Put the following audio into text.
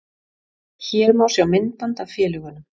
Hér má sjá myndband af félögunum